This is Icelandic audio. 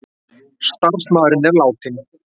Starfsmaðurinn er látinn